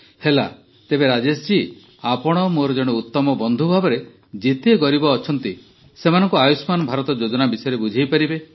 ହେଲା ତେବେ ରାଜେଶଜୀ ଆପଣ ମୋର ଜଣେ ଉତ୍ତମ ବନ୍ଧୁ ଭାବରେ ଯେତେ ଗରିବ ଅଛନ୍ତି ସେମାନଙ୍କୁ ଆୟୁଷ୍ମାନ ଭାରତ ଯୋଜନା ବିଷୟରେ ବୁଝାଇପାରିବେ